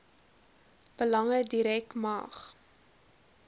belange direk mag